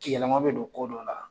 Yɛlɛma bɛ don ko dɔ la